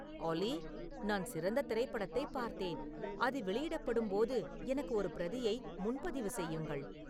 ஆலி நான் சிறந்த திரைப்படத்தைப் பார்த்தேன் அது வெளியிடப்படும்போது எனக்கு ஒரு பிரதியை முன்பதிவு செய்யுங்கள்